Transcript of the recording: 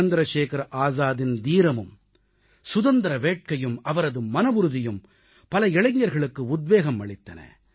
சந்திரசேகர ஆசாதின் தீரமும் சுதந்திர வேட்கையும் அவரது மனவுறுதியும் பல இளைஞர்களுக்கு உத்வேகம் அளித்தன